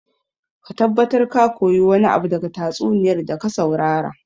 Ka tabbatar ka koyi wani abu daga tatsuniyar da ka saurara